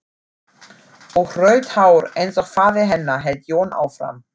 Og rautt hár eins og faðir hennar, hélt Jón áfram.